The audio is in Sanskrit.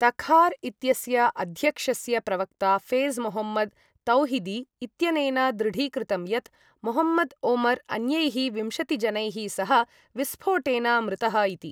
तखार् इत्यस्य अध्यक्षस्य प्रवक्ता फेज़ मोहम्मद् तौहिदी इत्यनेन दृढीकृतं यत् मोहम्मद् ओमर् अन्यैः विंशतिजनैः सह विस्फोटेन मृतः इति।